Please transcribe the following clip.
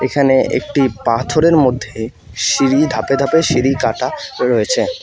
এখানে একটি পাথরের মধ্যে সিঁড়ি ধাপে ধাপে সিঁড়ি কাটা রয়েছে।